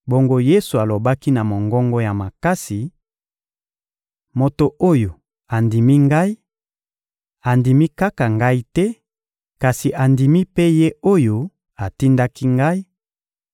Bongo Yesu alobaki na mongongo ya makasi: — Moto oyo andimi Ngai, andimi kaka Ngai te, kasi andimi mpe Ye oyo atindaki Ngai;